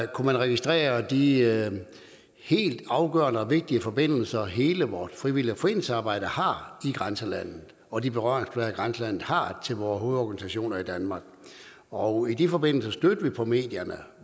kunnet registrere de helt afgørende og vigtige forbindelser hele vort frivillige foreningsarbejde har i grænselandet og de berøringsflader grænselandet har til vore hovedorganisationer i danmark og i de forbindelser stødte vi også på medierne